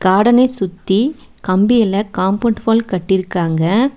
கார்டனை சுத்தி கம்பியில compound wall கட்டிருக்காங்க.